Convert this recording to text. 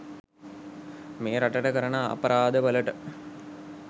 මේ රටට කරන අපරාද වලට.